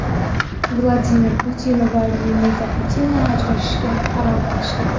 Vladimir Putin va Lyudmila Putina ajrashishga qaror qilishdi.